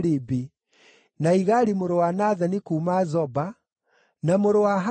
na Igali mũrũ wa Nathani kuuma Zoba, na mũrũ wa Hagili,